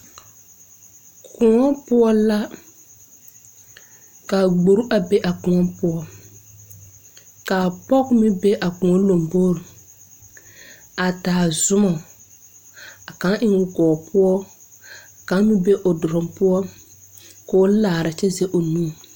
Kõɔ poɔ la ka gbore a be a kõɔ poɔ kaa pɔge meŋ be a kõɔ lombore a taa zumɔ a kaŋ eŋoo gɔɔ poɔ kaŋ meŋ be o duluŋ poɔ koo laara kyɛ zege o nu.